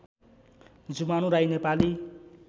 Jumanu Rai Nepali